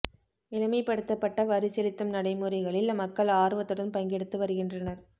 எளிமைப்படுத்தப்பட்ட வரி செலுத்தும் நடைமுறைகளில் மக்கள் ஆர்வத்துடன் பங்கெடுத்து வருகின்றனர்